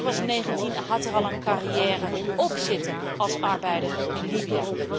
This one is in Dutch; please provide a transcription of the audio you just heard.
Hij was 19 en had er al een carriëre op zitten als arbeider in Libië.